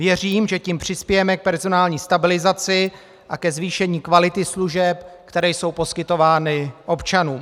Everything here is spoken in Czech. Věřím, že tím přispějeme k personální stabilizaci a ke zvýšení kvality služeb, které jsou poskytovány občanům.